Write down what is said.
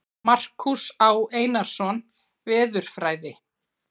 Markús Á. Einarsson, Veðurfræði.